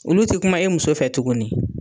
Olu ti kuma e muso fɛ tuguni